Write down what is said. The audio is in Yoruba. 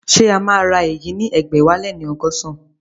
Ṣé a sì máa ra èyí ní ẹgbẹ̀wáléní ọgọ́san?